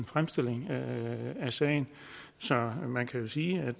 fremstilling af sagen så man kan sige